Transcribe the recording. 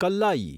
Kallayi